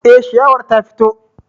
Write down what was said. Eh, shiyawar ta fito